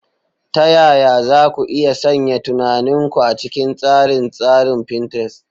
Ta yaya za ku iya sanya tunanin ku a cikin tsarin tsarin Pinterest?